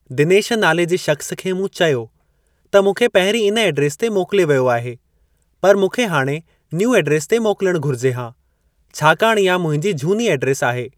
दिनेश नाले जे शख़्स खे मूं चयो त मूंखे पहिरीं इन एड्रेस ते मोकिलियो वियो आहे पर मूंखे हाणे न्यूं एड्रेस ते मोकिलणु घुरिजे हा छाकाणि ईहा मुंहिंजी झूनी एड्रेस आहे।